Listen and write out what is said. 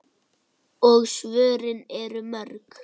Og svörin eru mörg.